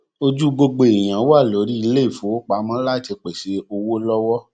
um ojú gbogbo èèyàn wà lórí iléìfowópamọ láti pèsè owó lọwọ